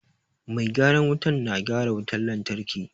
Mai gyaran wuta na gyara wutar lantarki.